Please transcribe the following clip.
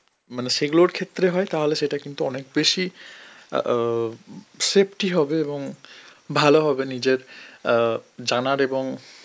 মানে সেগুলোর ক্ষেত্রে হয় তাহলে সেটা কিন্তু অনেক বেশি অ্যাঁ safety হবে এবং ভালো হবে নিজের অ্যাঁ জানার এবং